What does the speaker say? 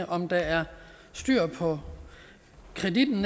om der er styr på kreditten